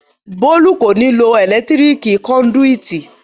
Bólú kò ní lo ẹ̀lẹ́tíríkì kọndùìtì